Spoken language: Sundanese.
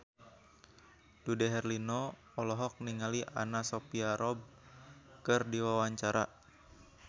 Dude Herlino olohok ningali Anna Sophia Robb keur diwawancara